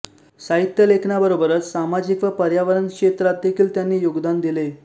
साहित्य लेखनाबरोबरच सामाजिक व पर्यावरण क्षेत्रात देखील त्यांनी योगदान दिले